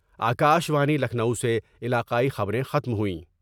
آ کا شوانی لکھنؤ سے علاقائی خبریں ختم ہوئیں